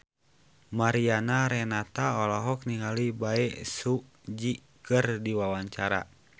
Mariana Renata olohok ningali Bae Su Ji keur diwawancara